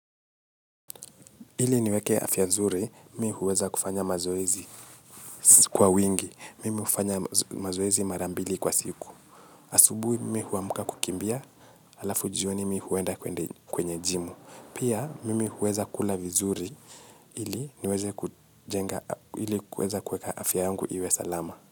Ili niweke afya nzuri, mi huweza kufanya mazoezi kwa wingi. Mimi hufanya mazoezi marambili kwa siku. Asubui, mi huamka kukimbia, alafu jioni mi huenda kwenye jimu. Pia, mimi huweza kula vizuri, ili niweze kujenga, ili kuweza kuweka afya yangu iwe salama.